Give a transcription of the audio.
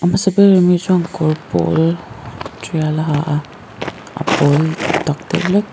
hmasa ber ami chuan kawr pawl tial a ha a a pawl tak deuh hlek.